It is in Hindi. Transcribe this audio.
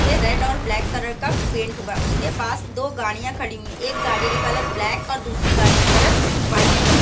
ते रेड ओर ब्लैक कलर का पेंट हुआ है उस के पास दो गाड़ियाँ खड़ी हुई हैं एक गाड़ी का कलर ब्लैक और दूसरी गाड़ी का कलर वाइट है।